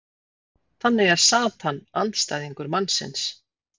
þannig er satan andstæðingur mannsins